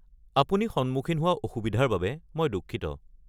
আপুনি সন্মুখীন হোৱা অসুবিধাৰ বাবে মই দুঃখিত।